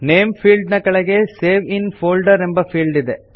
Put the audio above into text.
name field ನ ಕೆಳಗೆ save in folder ಎಂಬ ಫೀಲ್ಡ್ ಇದೆ